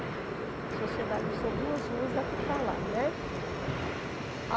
A sociedade são duas ruas daqui para lá, né?